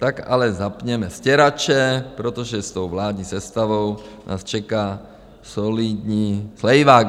Tak ale zapněme stěrače, protože s tou vládní sestavou nás čeká solidní slejvák.